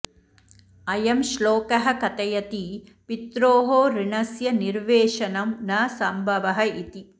अयं श्लोकः कथयति पित्रोः ऋणस्य निर्वेशनं न संभवः इति